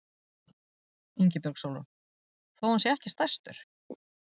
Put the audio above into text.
Ingibjörg Sólrún: Þó hann sé ekki stærstur?